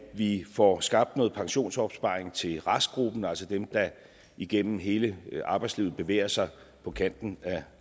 vi får skabt noget pensionsopsparing til restgruppen altså dem der igennem hele arbejdslivet bevæger sig på kanten af